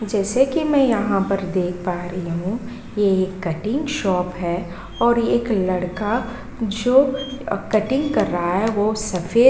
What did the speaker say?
जैसे कि मैं यहाँ पर देख पा रही हूँ ये एक कटिंग शॉप है और एक लड़का जो कटिंग कर रहा है वो सफेद --